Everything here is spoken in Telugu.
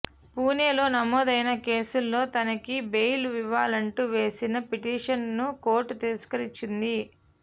పూణే లో నమోదైన కేసులో తనకి బెయిల్ ఇవ్వాలంటూ వేసిన పిటిషన్ ను కోర్ట్ తిరస్కరించింది